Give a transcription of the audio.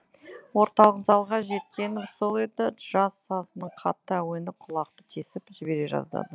орталық залға жеткенім сол еді джаз сазының қатты әуені құлақты тесіп жібере жаздады